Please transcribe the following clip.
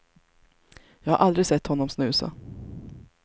Jag har aldrig sett honom snusa.